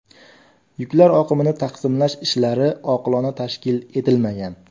Yuklar oqimini taqsimlash ishlari oqilona tashkil etilmagan.